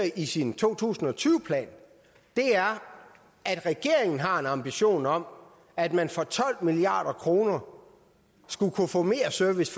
i sin to tusind og tyve plan er at regeringen har en ambition om at man for tolv milliard kroner skulle kunne få mere service